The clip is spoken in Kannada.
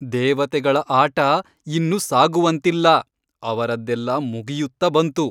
ದೇವತೆಗಳ ಆಟ ಇನ್ನು ಸಾಗುವಂತಿಲ್ಲ ಅವರದೆಲ್ಲ ಮುಗಿಯುತ್ತ ಬಂತು.